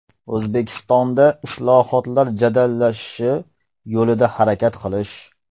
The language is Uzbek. O‘zbekistonda islohotlar jadallashishi yo‘lida harakat qilish.